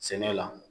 Sɛnɛ la